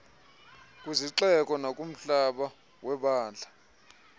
kwizixeko nakumhlaba webandla